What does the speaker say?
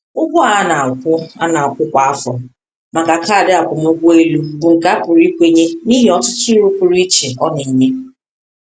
Ụgwọ a na-akwụ a na-akwụ kwa afọ maka kaadị akwụmụgwọ elu bụ nke a pụrụ ikwenye n’ihi ọtụtụ uru pụrụ iche ọ na-enye.